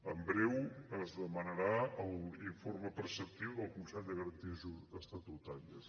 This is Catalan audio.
en breu es demanarà l’informe preceptiu del consell de garanties estatutàries